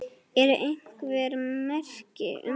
Eru einhver merki um það?